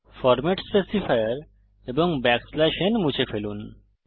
format specifier এবং n মুছে ফেলুন